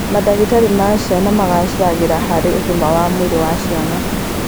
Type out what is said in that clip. Mandagĩtarĩ ma ciana magacĩraga harĩ ũgima wa mwĩrĩ wa ciana